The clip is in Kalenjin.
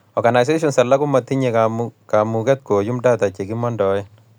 Organisations alake komotinyei kamuket koyuum data chekimondoe